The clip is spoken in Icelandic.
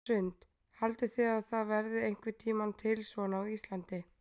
Hrund: Haldið þið að það verði einhvern tímann til svona á Íslandi?